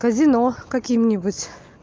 казино каким-нибудь